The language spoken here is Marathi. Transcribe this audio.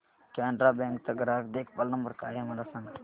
कॅनरा बँक चा ग्राहक देखभाल नंबर काय आहे मला सांगा